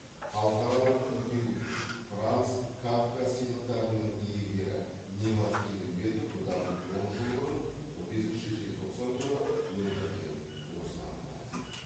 халықаралық күлтегін франц кафка сыйлықтарының иегері немат келімбетов бұдан он жыл бұрын он бесінші желтоқсан күні өмірден озған болатын